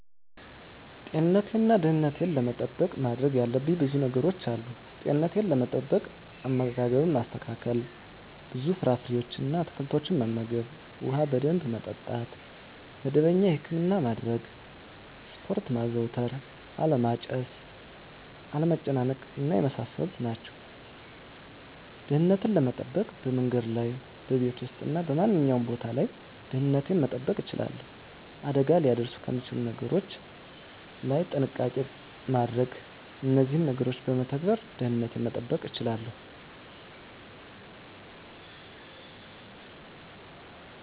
ጤንነቴን እና ደህንነቴን ለመጠበቅ ማድረግ ያለብኝ ብዙ ነገሮች አሉ፦ * ጤንነት፦ * አመጋገብን ማስተካከል፣ ብዙ ፍራፍሬዎችን እና አትክልቶችን መመገብ፣ ውሃ በደንብ መጠጣት፣ መደበኛ የህክምና ማድረግ፣ ስፖርት ማዘውተር አለማጨስ፣ አለመጨናነቅ የመሳሰሉት ናቸው። * ደህንነትን ለመጠበቅ፦ በመንገድ ላይ፣ በቤት ውስጥ እና በማንኛውም ቦታ ላይ ደህንነቴን መጠበቅ እችላለሁ። አደጋ ሊያደርሱ ከሚችሉ ነገሮች ላይ ጥንቃቄ ማድረግ እነዚህን ነገሮች በመተግበር ደህንነትን መጠበቅ ይቻላሉ።